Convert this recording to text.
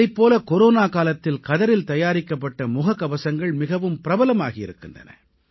இதைப் போல கொரோனா காலத்தில் கதரில் தயாரிக்கப்பட்ட முகக்கவசங்கள் மிகவும் பிரபலமாகி வருகின்றன